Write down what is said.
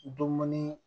Dumuni